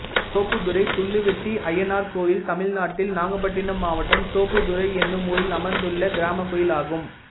தோப்புத்துறை துள்ளுவெட்டி அய்யனார் கோயில் தமிழ்நாட்டில் நாகப்பட்டினம் மாவட்டம் தோப்புத்துறை என்னும் ஊரில் அமைந்துள்ள கிராமக் கோயிலாகும்